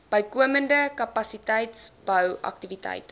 bykomende kapasiteitsbou aktiwiteite